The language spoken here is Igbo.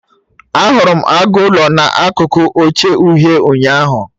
Ahụrụ m agụ ụlọ na akụkụ oche uhie, ụnyaahụ